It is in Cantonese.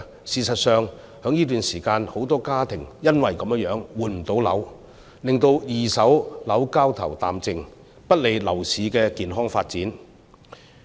事實上，在這段時間，很多家庭因此而無法換樓，令到二手樓交投淡靜，不利樓市的健康發展。